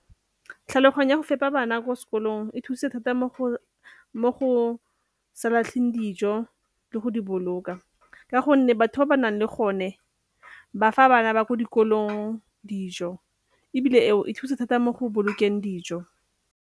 Tlhaloganya go fepa bana kwa sekolong e thuse thata mo go sa latlheng dijo le go di boloka ka gonne, batho ba ba nang le gone ba fa bana ba ko dikolong dijo ebile eo e thusa thata mo go bolokeng dijo.